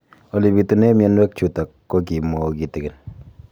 Ole pitune mionwek chutok ko kimwau kitig'�n